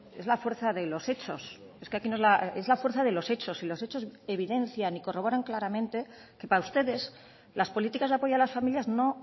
es la fuerza de los hechos es que aquí es la fuerza de los hechos y los hechos evidencian y corroboran claramente que para ustedes las políticas de apoyo a las familias no